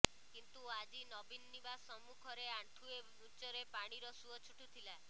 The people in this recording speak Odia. କିନ୍ତୁ ଆଜି ନବୀନ ନିବାସ ସମ୍ମୁଖରେ ଆଣ୍ଠୁଏ ଉଚ୍ଚରେ ପାଣିର ସୁଅ ଛୁଟୁଥିଲା